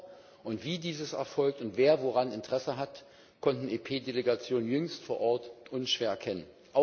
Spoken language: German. Ob und wie dies erfolgt, und wer woran Interesse hat, konnten EP Delegationen jüngst vor Ort unschwer erkennen.